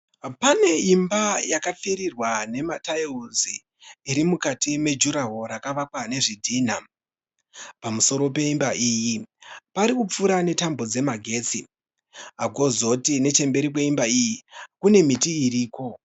Pane imba yakapfirirwa nemataiuzi iri mukati mejurahoro rakavakwa nezvidhinha. Pamusoro pemba iyi pari kupfuura netambo dzemagetsi. Kozoti nechemberi kwemba iyi kune miti iriko.